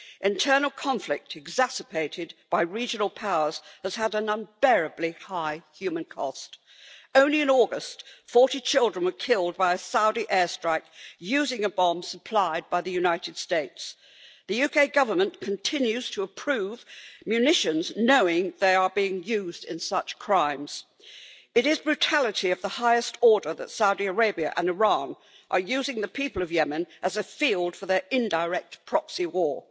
Internal conflict, exacerbated by regional powers, has had an unbearably high human cost. Only in August, 40 children were killed by a Saudi air strike using a bomb supplied by the United States. The UK Government continues to approve munitions knowing that they are being used in such crimes. It is brutality of the highest order that Saudi Arabia and Iran are using the people of Yemen as a field for their indirect proxy war.